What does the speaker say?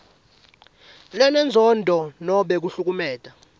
lenenzondo nobe kuhlukumeta